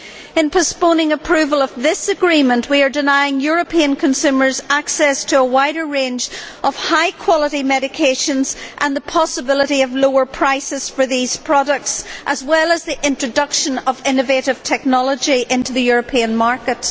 In postponing approval for this agreement, we are denying European consumers access to a wider range of high quality medication, and blocking the possibility of lower prices for these products as well as the introduction of innovative technology into the European market.